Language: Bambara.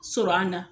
Sɔrɔ an na